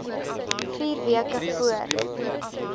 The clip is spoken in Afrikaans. vier weke voor